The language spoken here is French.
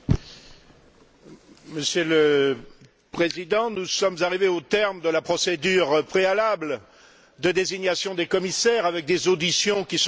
Monsieur le Président, nous sommes arrivés au terme de la procédure préalable de désignation des commissaires, avec des auditions qui sont parfaitement convenues.